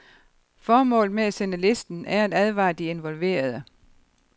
Formålet med at sende listen er at advare de involverede.